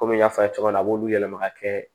Komi n y'a fɔ a' ye cogo min na a b'olu yɛlɛma ka kɛ